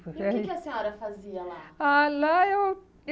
E o que que a senhora fazia lá? Ah, lá eu